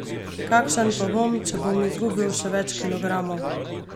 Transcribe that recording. Kakšen pa bom, če bom izgubil še več kilogramov?